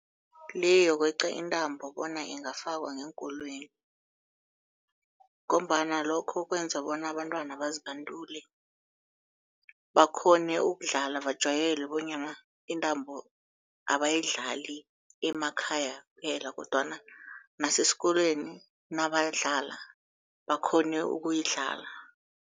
Le yokweqa intambo bona ingafakwa ngeenkolweni ngombana lokho kwenza bona abantwana bazibandule, bakghone ukudlala, bajwayele bonyana intambo abayidlali emakhaya kuphela kodwana nasesikolweni nabayidlala bakghone ukuyidlala.